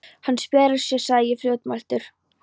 Hann spjarar sig sagði ég fljótmæltur.